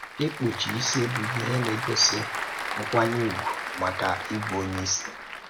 Ìkpùchì ísì bụ̀ íhè na-ègòsì nkwànyè ùgwù màkà íbù Onyé ísì.